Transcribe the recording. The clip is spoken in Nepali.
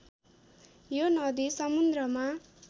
यो नदी समुन्द्रमा